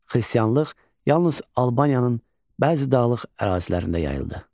Xristianlıq yalnız Albaniyanın bəzi dağlıq ərazilərində yayıldı.